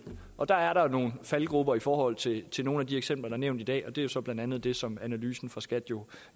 og der er der nogle faldgruber i forhold til til nogle af de eksempler der er nævnt i dag og det er så blandt andet det som analysen fra skat jo